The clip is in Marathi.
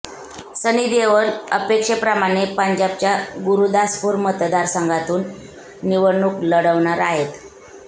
सनी देओल अपेक्षेप्रमाणे पंजाबच्या गुरदासपूर मतदारसंघातून निवडणूक लढवणार आहेत